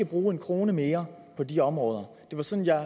bruge en krone mere på de områder det var sådan jeg